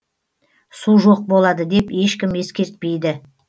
су жоқ болады деп ешкім ескертпейді